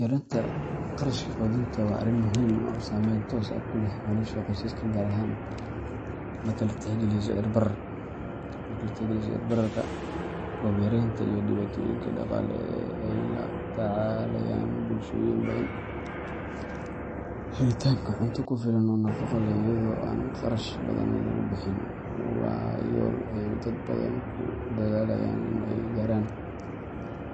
Yaraynta qarashka quudinta waa arrin muhiim ah oo saameyn toos ah ku leh nolosha qoysaska, gaar ahaan marka la tixgeliyo sicir bararka, roob yaraanta, iyo dhibaatooyinka dhaqaale ee ay la tacaalayaan bulshooyin badan. Helitaanka cunto ku filan oo nafaqo leh iyadoo aan kharash badan lagu bixin waa yool ay dad badan ku dadaalayaan in ay gaaraan.